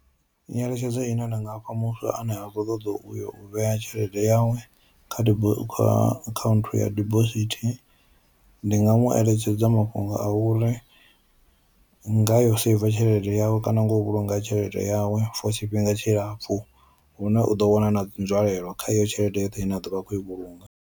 Nyeletshedzo ine nda nga fha muthu ane a khou ṱoḓa uyo u vhea tshelede yawe kha dibo kha account ya dibosithi ndi nga mu eletshedza mafhungo a u uri ngayo saver tshelede yawe kana nga u vhulunga tshelede yawe for tshifhinga tshilapfu hune u ḓo wana na nzwalelo kha iyo tshelede yoṱhe ine a ḓo vha a khou i vhulunga.